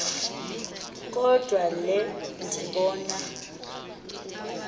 kodwa le ndibano